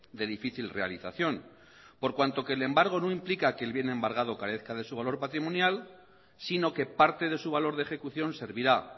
de difícil realización por cuanto que el embargo no implica que el bien embargado carezca de su valor patrimonial sino que parte de su valor de ejecución servirá